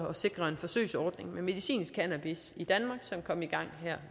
at sikre en forsøgsordning med medicinsk cannabis i danmark som kom i gang her